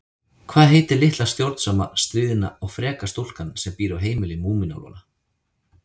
Hvað heitir litla stjórnsama, stríðna og freka stúlkan sem býr á heimili Múmínálfanna?